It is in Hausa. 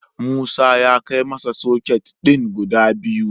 Musa yana kai masa soket din guda biyu.